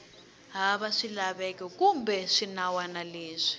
hava swilaveko kumbe swinawana leswi